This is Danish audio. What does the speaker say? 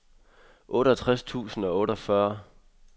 otteogtres tusind og otteogfyrre